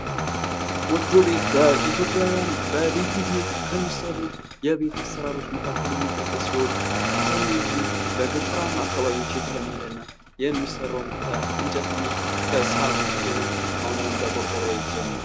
ጎጆ ቤት በኢትዮጵያውያን በልዩ ሁኔታ ከሚሰሩ የቤት አሰራሮች መካከል የሚጠቀስ ሲሆን አብዛኛውን ጊዜ በገጠራማ አካባቢዎች የተለመደ እና የሚሰራውም ከእንጨት እና ከሳር ሲሆን አሁን አሁን በቆርቆሮ እየተጀመረ ነው ።